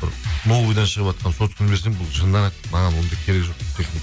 бір новыйдан шығыватқан сотканы берсем бұл жынданады маған ондай керек жоқ техника